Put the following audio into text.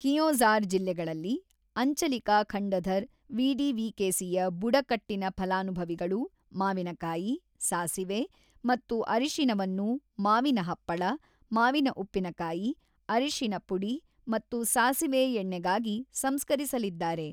ಕಿಯೋಂಝಾರ್ ಜಿಲ್ಲೆಗಳಲ್ಲಿ, ಅಂಚಲಿಕಾ ಖಂಡಧರ್ ವಿಡಿವಿಕೆಸಿಯ ಬುಡಕಟ್ಟಿನ ಫಲಾನುಭವಿಗಳು ಮಾವಿನಕಾಯಿ, ಸಾಸಿವೆ ಮತ್ತು ಅರಿಶಿನವನ್ನು ಮಾವಿನ ಹಪ್ಪಳ, ಮಾವಿನ ಉಪ್ಪಿನಕಾಯಿ, ಅರಿಶಿನ ಪುಡಿ ಮತ್ತು ಸಾಸಿವೆ ಎಣ್ಣೆಗಾಗಿ ಸಂಸ್ಕರಿಸಲಿದ್ದಾರೆ.